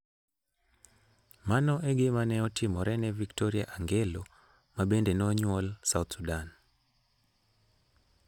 Mano e gima ne otimore ne Victoria Angelo, ma bende ne onyuol South Sudan.